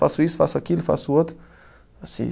Faço isso, faço aquilo, faço outro. Sei